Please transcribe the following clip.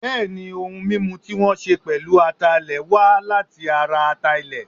Bẹ́ẹ̀ ni, ohun mímu tí wọ́n ṣẹ pèlú ataalẹ̀ wa láti ara ata-ilẹ̀.